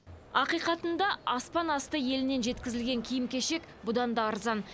ақиқатында аспанасты елінен жеткізілген киім кешек бұдан да арзан